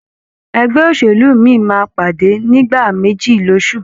Ẹgbẹ́ òṣèlú mí máa pàdé nìgbà méjì loṣù